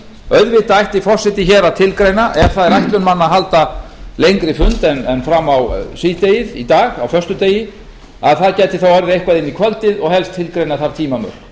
auðvitað ætti forseti að tilgreina ef það er ætlun manna að halda lengri fund en fram á síðdegið í dag á föstudegi að það gæti þá orðið eitthvað inn í kvöldið og helst tilgreina þar tímamörk það